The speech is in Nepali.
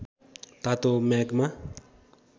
तातो म्याग्मा